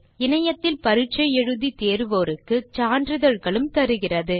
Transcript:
இணையத்தில் பரிட்சை எழுதி தேர்வோருக்கு சான்றிதழ்களும் தருகிறது